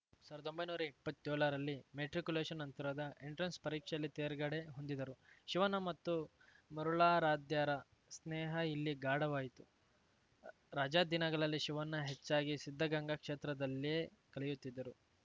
ಸಾವಿರ್ದೊಂಬೈ ನೂರಾ ಇಪ್ಪತ್ಯೋಳರಲ್ಲಿ ಮೆಟ್ರಿಕ್ಯುಲೇಶನ್‌ ನಂತರದ ಎಂಟ್ರೆನ್ಸ‌ ಪರೀಕ್ಷೆಯಲ್ಲಿ ತೇರ್ಗಡೆ ಹೊಂದಿದರು ಶಿವಣ್ಣ ಮತ್ತು ಮರುಳಾರಾಧ್ಯರ ಸ್ನೇಹ ಇಲ್ಲಿ ಗಾಢವಾಯಿತು ರಜಾ ದಿನಗಳನ್ನು ಶಿವಣ್ಣ ಹೆಚ್ಚಾಗಿ ಸಿದ್ಧಗಂಗಾ ಕ್ಷೇತ್ರದಲ್ಲೇ ಕಳೆಯುತ್ತಿದ್ದರು